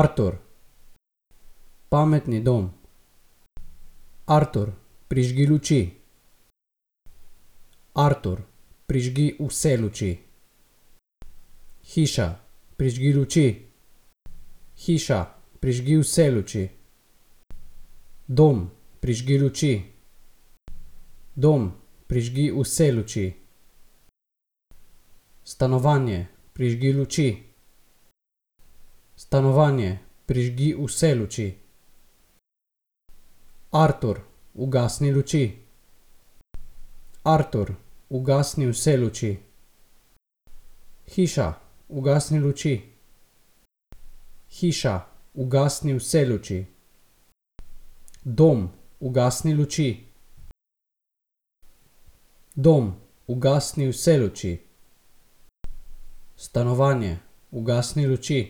Artur. Pametni dom. Artur, prižgi luči. Artur, prižgi vse luči. Hiša, prižgi luči. Hiša, prižgi vse luči. Dom, prižgi luči. Dom, prižgi vse luči. Stanovanje, prižgi luči. Stanovanje, prižgi vse luči. Artur, ugasni luči. Artur, ugasni vse luči. Hiša, ugasni luči. Hiša, ugasni vse luči. Dom, ugasni luči. Dom, ugasni vse luči. Stanovanje, ugasni luči.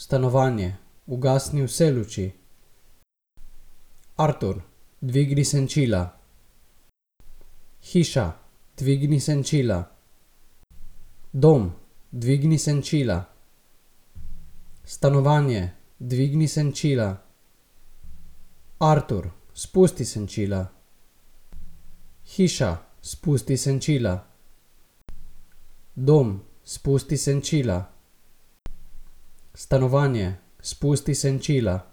Stanovanje, ugasni vse luči. Artur, dvigni senčila. Hiša, dvigni senčila. Dom, dvigni senčila. Stanovanje, dvigni senčila. Artur, spusti senčila. Hiša, spusti senčila. Dom, spusti senčila. Stanovanje, spusti senčila.